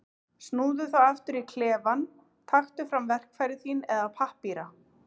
Snúðu þá aftur í klefann, taktu fram verkfæri þín eða pappíra.